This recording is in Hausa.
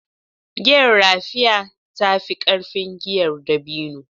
Giyar Raffia ta fi ƙarfin giyar dabino